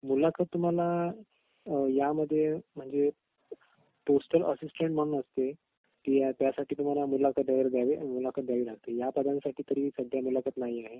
मुलाखत तुम्हाला यामध्ये म्हणजे पोस्टल असिस्टन्ट म्हणून असते त्यासाठी तुम्हाला मुलाखत वगैरे द्यावी मुलाखत या पदांसाठी तरी सध्या मुलाखत नाही आहे